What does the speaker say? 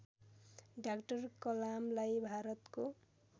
doctor कलामलाई भारतको